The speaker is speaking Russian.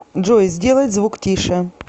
джой сделать звук тише